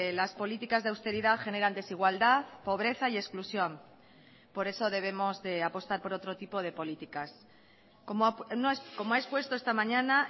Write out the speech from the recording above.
las políticas de austeridad generan desigualdad pobreza y exclusión por eso debemos de apostar por otro tipo de políticas como ha expuesto esta mañana